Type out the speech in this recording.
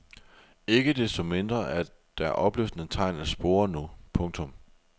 Ikke desto mindre er der opløftende tegn at spore nu. punktum